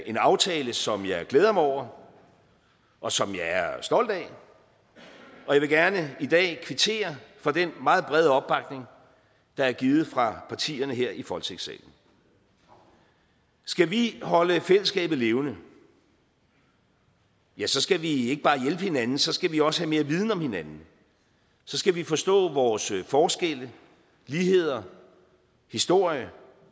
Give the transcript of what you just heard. en aftale som jeg glæder mig over og som jeg er stolt af og jeg vil gerne i dag kvittere for den meget brede opbakning der er givet fra partierne her i folketingssalen skal vi holde fællesskabet levende ja så skal vi ikke bare hjælpe hinanden så skal vi også have mere viden om hinanden så skal vi forstå vores forskelle ligheder historie